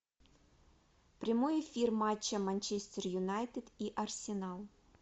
прямой эфир матча манчестер юнайтед и арсенал